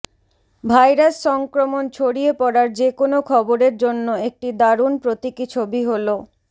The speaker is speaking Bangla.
ভাইরাস সংক্রমণ ছড়িয়ে পড়ার যেকোনো খবরের জন্য একটি দারুণ প্রতীকী ছবি হলো